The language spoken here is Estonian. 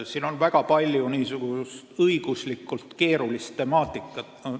Siin on väga palju õiguslikult keerulist temaatikat.